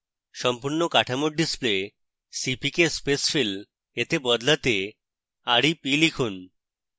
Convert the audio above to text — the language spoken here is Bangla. সম্পূর্ণ কাঠামোর display cpk spacefill এ বদলাতে rep লিখুন